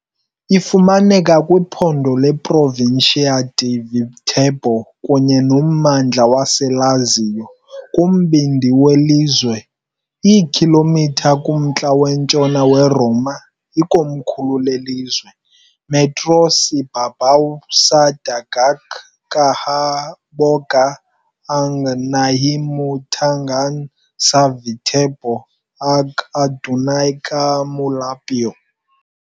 Ifumaneka kwiphondo leProvincia di Viterbo kunye nommandla waseLazio, kumbindi welizwe, iikhilomitha kumntla-ntshona weRoma, ikomkhulu lelizwe. metros ibabaw sa dagat kahaboga ang nahimutangan sa Viterbo, ug adunay ka molupyo.